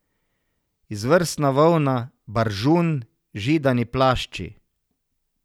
Izvrstna volna, baržun, židani plašči.